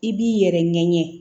I b'i yɛrɛ ɲɛɲɛ